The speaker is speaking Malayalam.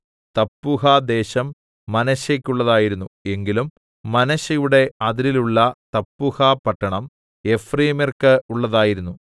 തപ്പൂഹദേശം മനശ്ശെക്കുള്ളതായിരുന്നു എങ്കിലും മനശ്ശെയുടെ അതിരിലുള്ള തപ്പൂഹപട്ടണം എഫ്രയീമ്യർക്ക് ഉള്ളതായിരുന്നു